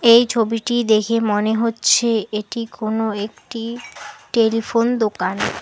এই ছবিটি দেখে মনে হচ্ছে এটি কোন একটি টেলিফোন দোকান।